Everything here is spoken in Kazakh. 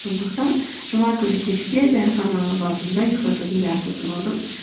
сондықтан жұма күні кешке дәріханаға бардым да ұйықтататын дәрі сатып алдым